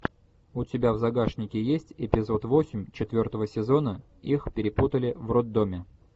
у тебя в загашнике есть эпизод восемь четвертого сезона их перепутали в роддоме